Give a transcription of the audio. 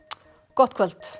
gott kvöld